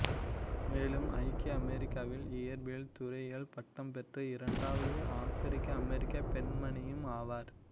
மேலும் ஐக்கிய அமெரிக்காவில் இயற்பியல் துறையில் பட்டம் பெற்ற இரண்டாவது ஆபிரிக்கஅமெரிக்க பெண்மணியும் ஆவார்